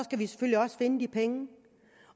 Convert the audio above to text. finde de penge